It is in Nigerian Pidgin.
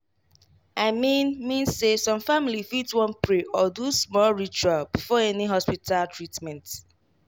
i mean mean say some family fit wan pray or do small ritual before any hospita treatment